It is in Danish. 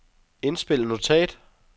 indspil notat